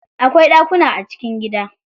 Akwai ɗakuna a cikin gida.